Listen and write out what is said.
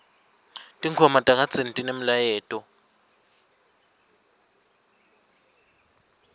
sihloko ngendlela lengemalengiso